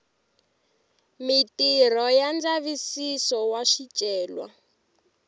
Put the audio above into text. mitirho ya ndzavisiso wa swicelwa